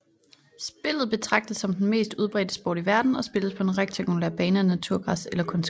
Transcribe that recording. Spillet betragtes som den mest udbredte sport i verden og spilles på en rektangulær bane af naturgræs eller kunstgræs